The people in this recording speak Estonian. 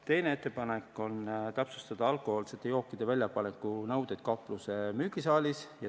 Teine ettepanek on täpsustada alkohoolsete jookide väljapaneku nõudeid kaupluse müügisaalis.